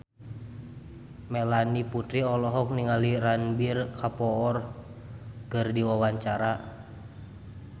Melanie Putri olohok ningali Ranbir Kapoor keur diwawancara